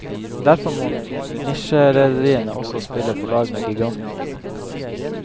Derfor må nisjerederiene også spille på lag med gigantene.